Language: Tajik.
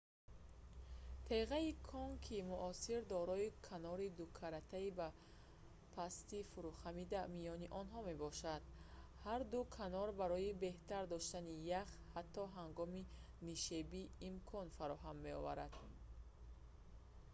теғаи конкии муосир дорои канори дукаратаи бо пастии фурӯхамида миёни онҳо мебошад ҳар ду канор барои беҳтар доштани ях ҳатто ҳангоми нишебӣ имкон фароҳам меоваранд